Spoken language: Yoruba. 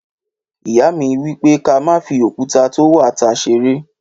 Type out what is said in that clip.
Ìyá mi wípè; kà má fi òkútà to wà tá ṣẹrẹ.